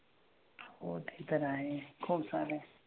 हो ते तर आहे खूपसाऱ्या.